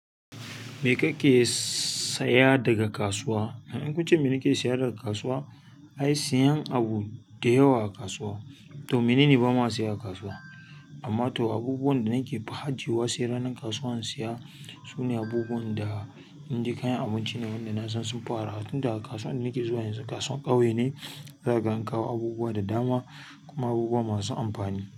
Me kake saya daga kasuwa? In kunce me nake sayar daga kasuwa, ai siyan abu da yawa a kasuwa to menene ba ma saya a kasuwa. Amma to abubuwan da nake fa ajiwa sai ranan kasuwa in saya, sune abubuwan da inji kayan abinci ne wanda na san sunfi arha. Tun da kasuwan da nake zuwa yanzu kasuwan ƙauye ne, za gan kawo abubuwa da dama kuma abubuwa masu amfani.